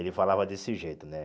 Ele falava desse jeito, né?